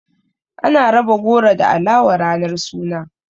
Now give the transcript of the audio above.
Ana raba goro da alawa ranar suna.